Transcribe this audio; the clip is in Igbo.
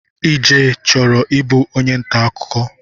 Ije chọrọ ịbụ onye ntaakụkọ